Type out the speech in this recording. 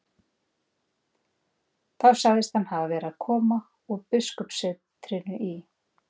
Og þá sagðist hann hafa verið að koma úr biskupssetrinu í